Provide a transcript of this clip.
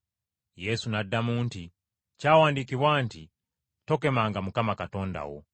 Yesu n’addamu nti, “Kyawandiikibwa nti, ‘Tokemanga Mukama Katonda wo.’ ”